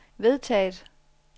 vedtaget